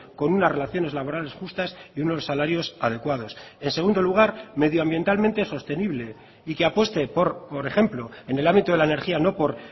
con unas relaciones laborales justas y unos salarios adecuados en segundo lugar medioambientalmente sostenible y que apueste por ejemplo en el ámbito de la energía no por